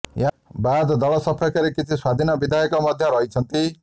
ଏହାବାଦ ଦଳ ସପକ୍ଷରେ କିଛି ସ୍ୱାଧୀନ ବିଧାୟକ ମଧ୍ୟ ରହିଛନ୍ତି